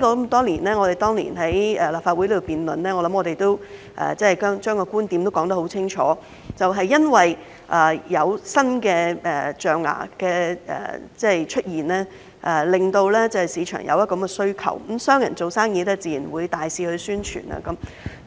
我們當年曾在立法會進行辯論，相信相關觀點已經說得很清楚，就是由於有新的象牙出現，令市場出現需求，商人做生意自然會大肆宣傳，